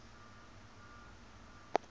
gnu general public